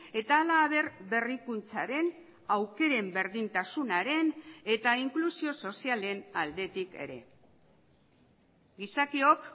eta halaber berrikuntzaren aukeren berdintasunaren eta inklusio sozialen aldetik ere gizakiok